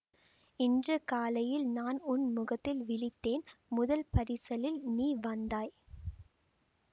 இன்று காலையில் நான் உன் முகத்தில் விழித்தேன் முதல் பரிசலில் நீ வந்தாய்